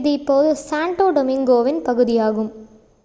இது இப்போது சாண்டோ டொமிங்கோவின் பகுதியாகும்